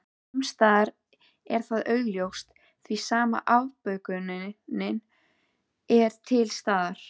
Sumsstaðar er það augljóst því sama afbökunin er til staðar.